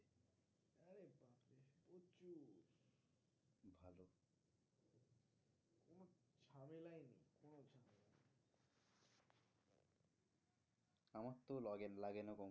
আমার তো লাগে না